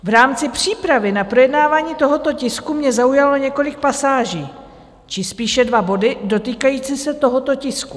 V rámci přípravy na projednávání tohoto tisku mě zaujalo několik pasáží či spíše dva body dotýkající se tohoto tisku.